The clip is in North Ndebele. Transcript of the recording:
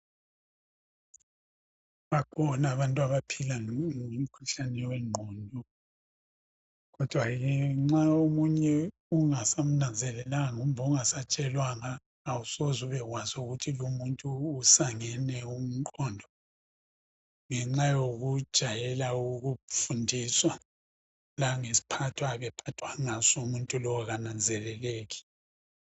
bakhona abantu abaphila lomkhuhlane wengqondo kodwa nxa omunye ungasamnanzelelanga kumbe ungasatshelwanga awusoze ukwazi ukuthi umuntu lo usangene umqondo ngenxa yokujayela ukufundiswa langesiphatho ayabe ephathwa ngaso umuntu lo kananzeleleki